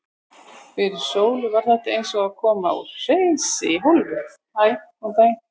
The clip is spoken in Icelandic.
Fyrir Sólu var þetta eins og að koma úr hreysi í höll.